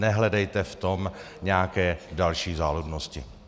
Nehledejte v tom nějaké další záludnosti.